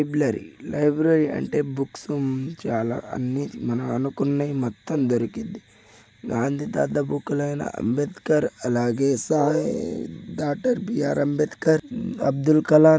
library library అంటే books ఉంచాలా అన్ని మనం అనుకున్న మొత్తం దొరికింది గాంధీ తాత బుక్స్ ఐనా అంబేద్కర్ అలాగే డాక్టర్ బి_ఆర్ అంబేద్కర్ అబ్దుల్ కలం --